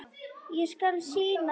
Ég skal sýna þér hvar.